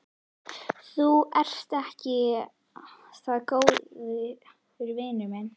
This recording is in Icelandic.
Þú ert ekki það góður vinur minn.